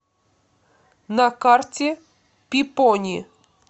на карте пипони